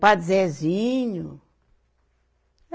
Padre Zezinho.